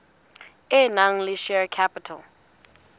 e nang le share capital